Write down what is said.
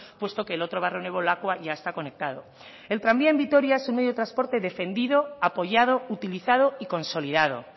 puesto que el otro barrio nuevo lakua ya está conectado el tranvía en vitoria es un medio de transporte defendido apoyado utilizado y consolidado